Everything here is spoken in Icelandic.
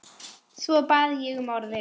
Svo bað ég um orðið.